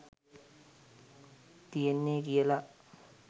තියෙන්නෙ කියල.